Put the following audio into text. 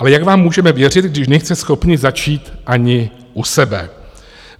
Ale jak vám můžeme věřit, když nejste schopni začít ani u sebe?